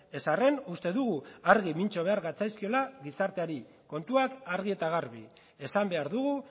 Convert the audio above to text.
ez arren uste dugu argi mintzo behar gatzaizkiola gizarteari kontuak argi eta garbi esan behar dugu